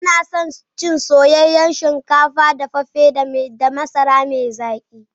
Muna son cin soyayyen shinkafa dafaffe da masara mai zaki.